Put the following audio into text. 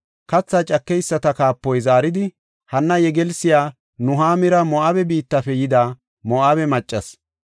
Katha cakeyisata kaapoy zaaridi, “Hanna yegelsiya Nuhaamira Moo7abe biittafe yida Moo7abe maccasi.